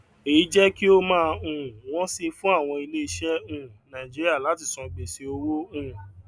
èyí jẹ kí ó máa um wọn si fún àwọn ilé iṣẹ um nàìjíríà láti san gbèsè owó um